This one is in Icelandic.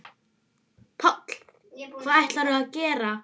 Páll: Hvað ætlarðu að gera?